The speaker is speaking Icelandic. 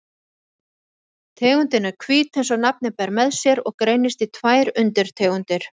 Tegundin er hvít eins og nafnið ber með sér og greinist í tvær undirtegundir.